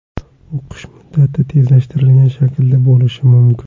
O‘qish muddati tezlashtirilgan shaklda bo‘lishi mumkin.